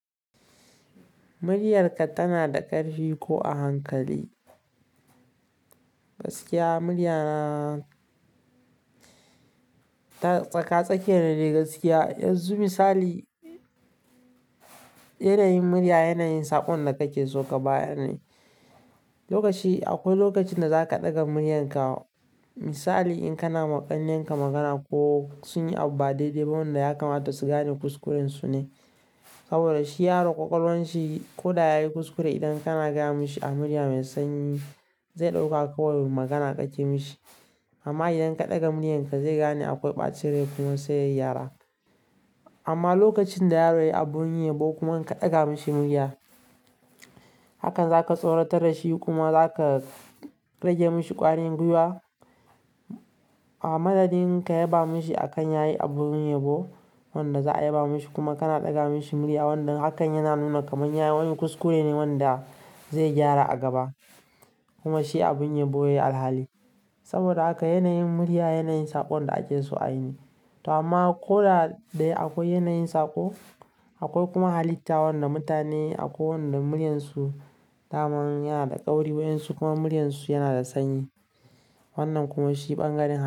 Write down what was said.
Muriyarka tana da ƙarfi ko a hankali? Gaskiya murya na tsaka-tsakiya ne gaskiya. Yanzu misali, yanayin murya yanayin saƙon da kake so ka bayar ne. Lokaci akwai lokacin da za ka ɗaga muriyarka, misali in kana ma ƙannenka magana ko sun yi abu ba daidai wanda ya kamata su gane kuskuren su ne. Saboda shi yaro ƙwaƙwalwan shi ko da ya yi kuskure idan kana gama shi a murya mai sanyi, zai ɗauka kawai magana kake mishi. Amma idan ka ɗaga muriyarka zai gane akwai ɓacere kuma sai ya gyara. Amma lokacin da yaro yayi abun yabo kuma inka ɗaga mishi murya, hakan zaka tsoratar da shi kuma zaka rage mishi ƙwarin gwiwa. A madadin ka yaba mishi a kan yayi abun yabo wanda za a yaba mishi kuma kana ɗaga mishi murya wanda hakan yana nuna kaman yayi wani kuskure ne wanda zai gyara a gaba kuma shi abun yabo yayi alhali. Saboda haka yanayin murya yanayin saƙon da ake so a yi ne. To amma ko da dai akwai yanayin saƙo, akwai kuma halitta wanda mutane akwai wanda muriyansu daman yanada tsauri waƴansu kuma muryan su yanada sanyi. Wannan kuma shi bangaren halitta.